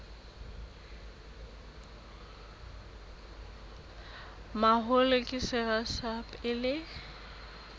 mahola ke sera sa pele